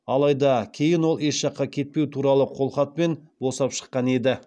алайда кейін ол еш жаққа кетпеу туралы қолхатпен босап шыққан еді